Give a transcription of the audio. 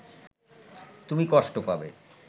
তুমি কষ্ট পাবে